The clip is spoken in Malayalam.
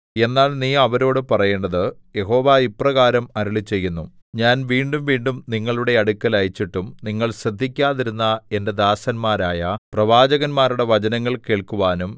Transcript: എന്നാൽ നീ അവരോടു പറയേണ്ടത് യഹോവ ഇപ്രകാരം അരുളിച്ചെയ്യുന്നു ഞാൻ വീണ്ടുംവീണ്ടും നിങ്ങളുടെ അടുക്കൽ അയച്ചിട്ടും നിങ്ങൾ ശ്രദ്ധിക്കാതിരുന്ന എന്റെ ദാസന്മാരായ പ്രവാചകന്മാരുടെ വചനങ്ങൾ കേൾക്കുവാനും